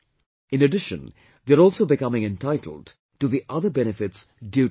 In addition, they are also becoming entitled to the other benefits due to them